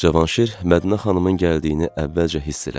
Cavanşir Mədinə xanımın gəldiyini əvvəlcə hiss elədi.